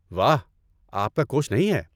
واہ، آپ کا کوچ نہیں ہے؟